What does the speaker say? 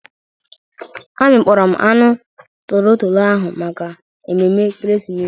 Amịkpọrọ m anụ tolotolo ahụ maka emume ekeresimesi.